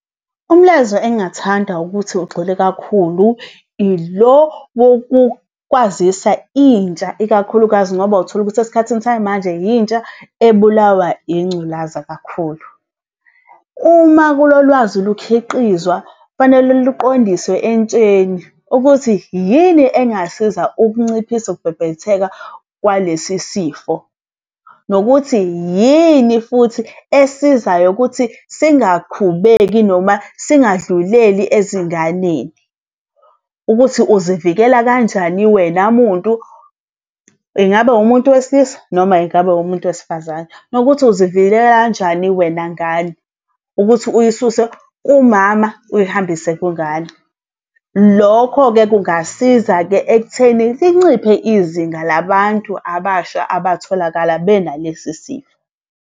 Umlayezo engathanda ukuthi ugxile kakhulu, ilo wokukwazisa intsha, ikakhulukazi ngoba utholukuthi esikhathini samanje intsha ebulawa yingculaza kakhulu. Uma kulo lwazi lukhiqizwa, kufanele luqondiswe entsheni ukuthi yini engasiza ukunciphisa ukubhebhetheka kwalesi sifo. Nokuthi yini futhi esizayo ukuthi singaqhubeki noma singadluleli ezinganeni. Ukuthi uzivikela kanjani wena muntu, ingabe umuntu wesilisa noma ingabe umuntu wesifazane, nokuthi uzivikelela kanjani wena ngane, ukuthi uyisuse kumama uyihambise kwingane. Lokho-ke kungasiza-ke ekutheni linciphe izinga labantu abasha abatholakala benalesi sifo.